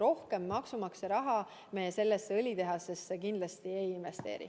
Rohkem maksumaksja raha me sellesse õlitehasesse kindlasti ei investeeri.